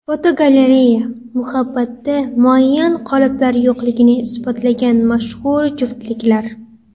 Fotogalereya: Muhabbatda muayyan qoliplar yo‘qligini isbotlagan mashhur juftliklar.